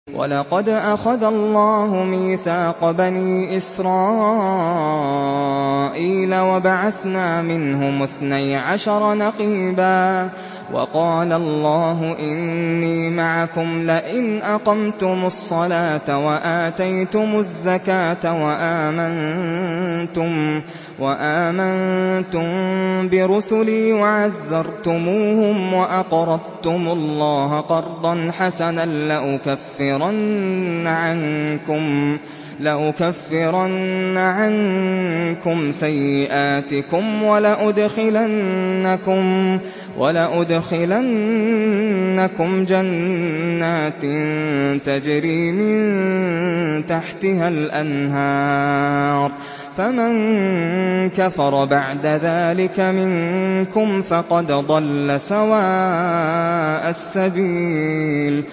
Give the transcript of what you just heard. ۞ وَلَقَدْ أَخَذَ اللَّهُ مِيثَاقَ بَنِي إِسْرَائِيلَ وَبَعَثْنَا مِنْهُمُ اثْنَيْ عَشَرَ نَقِيبًا ۖ وَقَالَ اللَّهُ إِنِّي مَعَكُمْ ۖ لَئِنْ أَقَمْتُمُ الصَّلَاةَ وَآتَيْتُمُ الزَّكَاةَ وَآمَنتُم بِرُسُلِي وَعَزَّرْتُمُوهُمْ وَأَقْرَضْتُمُ اللَّهَ قَرْضًا حَسَنًا لَّأُكَفِّرَنَّ عَنكُمْ سَيِّئَاتِكُمْ وَلَأُدْخِلَنَّكُمْ جَنَّاتٍ تَجْرِي مِن تَحْتِهَا الْأَنْهَارُ ۚ فَمَن كَفَرَ بَعْدَ ذَٰلِكَ مِنكُمْ فَقَدْ ضَلَّ سَوَاءَ السَّبِيلِ